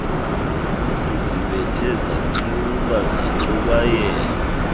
sizibethe zanxuba zaxubayela